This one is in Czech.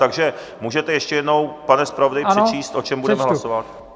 Takže můžete ještě jednou, pane zpravodaji, přečíst, o čem budeme hlasovat?